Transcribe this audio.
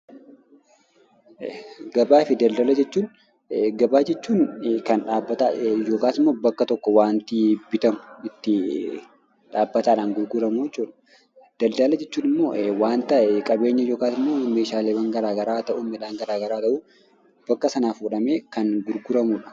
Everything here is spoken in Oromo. Gabaa fi Daldala: Gabaa jechuun kan dhaabbataa yookaan immoo bakka tokko wanti bitamu itti dhaabbataadhaan gurguramu jechuudha. Daladala jechuun immoo wanta qabeenya yookiin meeshaalee gara garaa haa ta'u, midhaan gara garaa haa ta'u bakka sanaa fuudhamee kan gurguramudha.